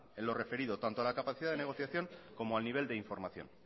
en lo referido tanto a la capacidad de negociación como al nivel de información